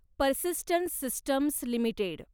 persistent systems limited